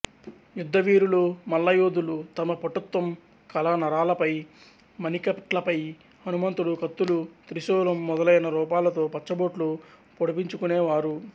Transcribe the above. యుద్ధవీరులు మల్లయోధులు తమ పటుత్వం కల నరాలపై మణికట్లపై హనుమంతుడు కత్తులు త్రిశూలం మొదలైన రూపాలతో పచ్చబొట్లు పొడిపించుకునేవారు